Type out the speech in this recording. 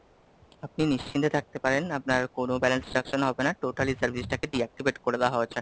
আপনি নিশ্চিন্তে থাকতে পারেন, আপনার কোনো Balance construction হবে না, total ই service টাকে Deactivate করে দেওয়া হয়েছে,